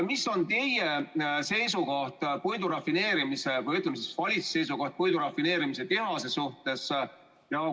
Mis on teie või siis valitsuse seisukoht puidurafineerimistehase suhtes?